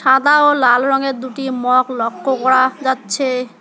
সাদা ও লাল রঙের দুটি মগ লক্ষ্য করা যাচ্ছে।